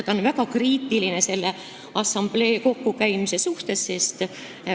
Ta on väga kriitiline selle assamblee kooskäimise suhtes.